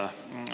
Aitäh!